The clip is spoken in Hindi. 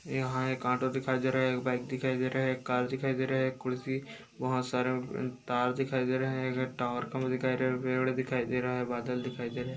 यहाँ एक ऑटो दिखाई दे रहा है एक बाइक दिखाई दे रहा है एक कार दिखाई दे रहा है एक कुर्सी बहुत सारी तार दिखाई दे रहा है एक टावर दिखाई दे रहा है बादल दिखाई दे रहा है।